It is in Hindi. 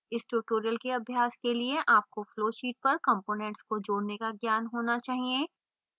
इस tutorial के अभ्यास के लिए आपको flowsheet पर components को जोड़ने का ज्ञान होना चाहिए